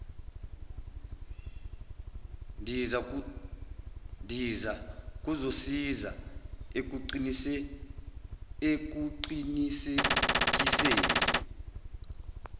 ndiza kuzosiza ekuqinisekiseni